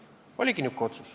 Oligi nihuke otsus.